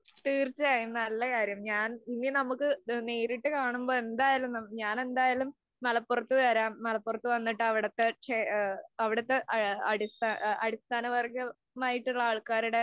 തീര്‍ച്ചയായും, നല്ല കാര്യം. ഞാന്‍ ഇനി നമുക്ക് നേരിട്ട് കാണുമ്പോള്‍ എന്തായാലും ഞാനെന്തായാലും മലപ്പുറത്ത് വരാം. മലപ്പുറത്ത് വന്നിട്ട് അവിടത്തെ ക്ഷേ, അവിടത്തെ അടിസ്ഥാനവര്‍ഗമായിട്ടുള്ള ആള്‍ക്കാരുടെ